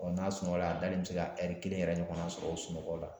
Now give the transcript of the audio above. Bɔn n'a sunɔgɔra a dalen be se ka ɛri kelen yɛrɛ ɲɔgɔnna sɔrɔ o sunɔgɔ la